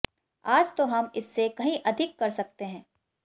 आज तो हम इससे कहीं अधिक कर सकते हैं